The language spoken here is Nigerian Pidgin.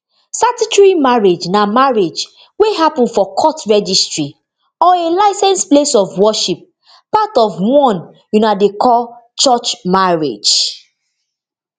statutory marriage na marriage wey happun for court registry or a licensed place of worship part of di one una dey call church marriage